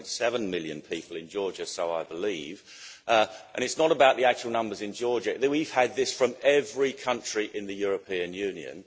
3.7 million people in Georgia, I believe, and it's not about the actual numbers in Georgia we've had this from every country in the European Union.